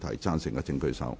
贊成的請舉手。